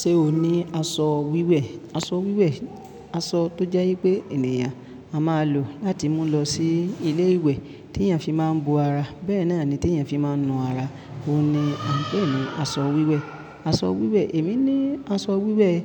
Ṣé o ní aṣọ wíwẹ̀? Aṣọ wíwẹ̀, aṣọ tó jẹ́ wípé ènìyàn a máa lò láti mú lọ sí ilé ìwẹ̀ tí èèyàn fi máa ń bo ara. Bẹ́ẹ̀ náà ni tí èèyàn fi máa ń nu ara. Óun ni à ń pè ní aṣọ wíwẹ̀. Aṣọ wíwẹ̀, èmi ní aṣọ wíwẹ̀.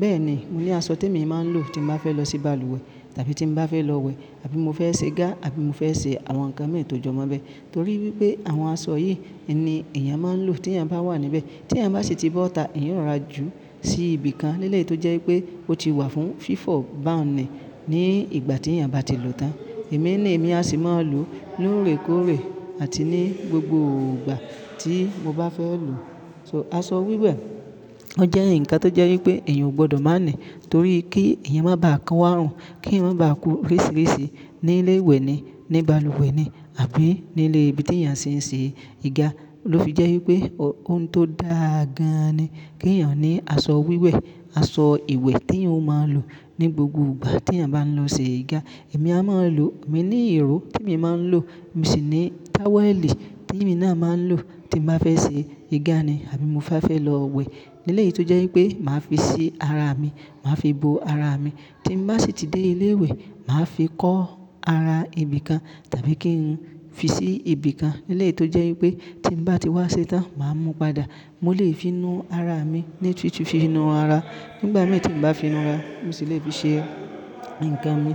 Bẹ́ẹ̀ ni, mo ní aṣọ tí èmi máa ń lò tí mo bá fẹ́ lọ sí balùwẹ̀, tàbí tí mo bá fẹ́ lọ wẹ̀, àbí mo fẹ́ ṣe igá, àbí mo fẹ́ ṣe àwọn nǹkan mín to jọ́ mọ́ bẹ́ẹ̀. Torí wipé àwọn aṣọ yìí ni èèyàn máa ń lò tí èèyàn bá wà níbẹ̀. Tí èèyàn bá sì tí bó tá, ìyẹn ó róra jù sí ibìkan lẹ́lẹ̀ tó jẹ́ wípé ó ti wà fún fífọ̀, bá nǹkan ní ìgbà tí èèyàn bá ti lòó tán. Èmi ni èmi a sì máa ń lò lóòrèkóòrè àti ní gbogbo ìgbà tí mo bá fẹ́ lò. So aṣọ wíwẹ̀, ó jẹ́ ǹkan tó jẹ́ wípé èèyàn ò gbọdọ̀ má ní, torí kí èèyàn má bàa kan wá run, kí ń ò bá kú rísìrísì ní ilé ìwẹ̀ ni, ní balùwẹ̀ ni, àbí nílé ibi tí èèyàn sì ń ṣe igá. Lo fi jẹ́ wípé òun tó dáa gan ni kí èèyàn ní aṣọ wíwẹ̀, aṣọ ìwẹ̀ tí eyan o máa lò ní gbogbo ìgbà tí èèyàn bá ń lọ ṣe igá. Èmi a máa ń lò, èmi ní ìró tí èmi máa ń lò. Èmi sì ní táwẹ̀lì tí èmi náà máa ń lò tí mo bá fẹ́ ṣe igá ni, àbí mo bá fẹ́ lọ wẹ̀. Lẹ́lẹ̀ yìí tó jẹ́ wípé màá fi sí ara mi, màá fi bo ara mi. Tí mo bá sì ti dé ilé ìwẹ̀, mà á fi kọ́ ara ibìkan tàbí kí n fi sí ibìkan lẹ́lẹ̀ tó jẹ́ wípé tí mo bá ti wá ṣe tán, màá mú padà. Mo lè fi nu ara mi, léèṣì fi nu ara. Nígbà mìíràn tí mo bá fi nu ara, mo sì lè fi ṣe ǹkan mi.